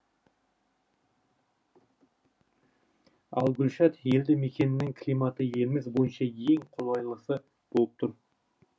ал гүлшат елді мекенінің климаты еліміз бойынша ең қолайлысы болып тұр